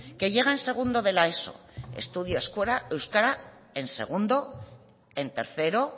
que llega en segundo de la eso estudia euskera en segundo en tercero